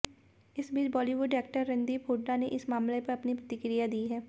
इस बीच बॉलीवुड एक्टर रणदीप हुड्डा ने इस मामले पर अपनी प्रतिक्रिया दी है